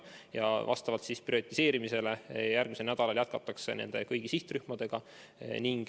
Vastavalt prioriseerimisele jätkatakse järgmisel nädalal nende kõigi sihtrühmade vaktsineerimist.